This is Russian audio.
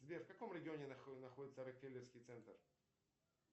сбер в каком регионе находится рокфеллерский центр